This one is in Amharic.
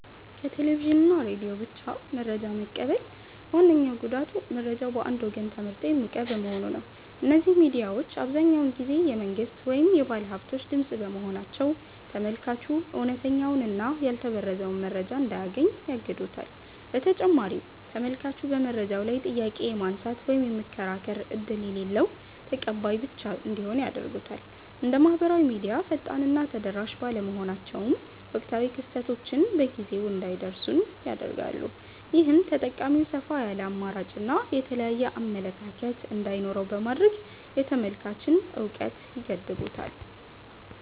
ከቴሌቪዥን እና ሬዲዮ ብቻ መረጃ መቀበል ዋነኛው ጉዳቱ መረጃው በአንድ ወገን ተመርጦ የሚቀርብ መሆኑ ነው። እነዚህ ሚዲያዎች አብዛኛውን ጊዜ የመንግሥት ወይም የባለሃብቶች ድምፅ በመሆናቸው፤ ተመልካቹ እውነተኛውንና ያልተበረዘውን መረጃ እንዳያገኝ ያግዱታል። በተጨማሪም ተመልካቹ በመረጃው ላይ ጥያቄ የማንሳት ወይም የመከራከር ዕድል የሌለው ተቀባይ ብቻ እንዲሆን ያደርጉታል። እንደ ማኅበራዊ ሚዲያ ፈጣንና ተደራሽ ባለመሆናቸውም፣ ወቅታዊ ክስተቶች በጊዜው እንዳይደርሱን ያደርጋሉ። ይህም ተጠቃሚው ሰፋ ያለ አማራጭና የተለያየ አመለካከት እንዳይኖረው በማድረግ የተመልካችን እውቀት ይገድቡታል።